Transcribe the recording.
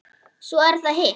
Svo er það hitt.